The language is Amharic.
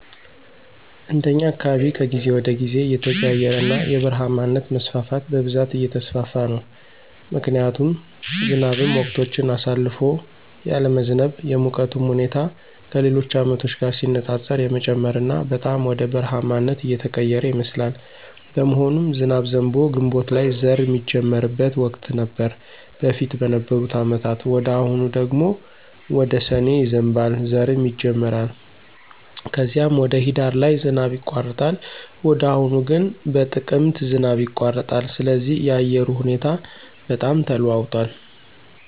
እንደኛ አካባቢ ከጊዜ ወደ ጊዜ እየተቀያየረና የበረሃማነት መስፋፋት በብዛት እየተስፋፋ ነው ምክንያቱም ዝናብም ወቅቶችን አሳልፎ ያለመዝነብ፣ የሙቀቱም ሁኔታ ከሌሎች አመቶች ጋር ሲነፃፀር የመጨመርና በጣም ወደ በረሐማነት እየተቀየረ ይመስላል። በመሆኑም ዝናብ ዘንቦ ግንቦት ላይ ዘር ሚጀመርበት ወቅት ነበር በፊት በነበሩ አመታት ወደ አሁኑ ደግሞ ወደ ሰኔ ይዘንባል ዘርም ይጀመራል ከዚም ወደ ሂዳር ላይ ዝናብ ይቋረጣል ወደ አሁኑ ግን በጥቅምት ዝናብ ይቋረጣል ስለዚህ የአየሩ ሁኔታ በጣም ተለዋውጧል